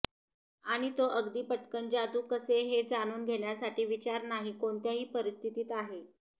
आणि तो अगदी पटकन जादू कसे हे जाणून घेण्यासाठी विचार नाही कोणत्याही परिस्थितीत आहे